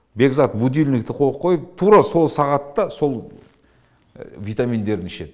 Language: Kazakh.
бекзат будильникті қойып қойып тура сол сағатта сол витаминдерін ішет